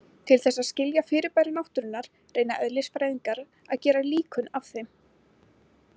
Til þess að skilja fyrirbæri náttúrunnar reyna eðlisfræðingar að gera líkön af þeim.